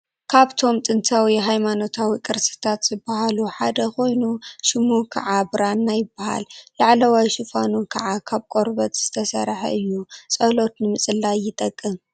ካብቶም ጥንታዊ ሃይማኖታዊ ቅርስታት ዝበሃሉ ሓደ ኮይኑ ሽሙ ከዓ ብራና ይበሃል:: ላዕለዋይ ሽፋኑ ከዓ ካብ ቆርበት ዝተሰርሐ እዩ:: ፀሎት ንምፅላይ ይጠቅም::